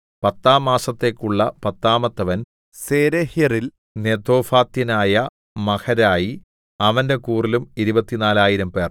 പത്താം മാസത്തേക്കുള്ള പത്താമത്തവൻ സേരെഹ്യരിൽ നെതോഫാത്യനായ മഹരായി അവന്റെ കൂറിലും ഇരുപത്തിനാലായിരംപേർ 24000